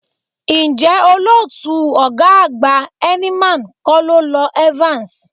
Ǹjẹ́ olótùú ọ̀gá àgbà Heineman kọ́ ló lọ Evans?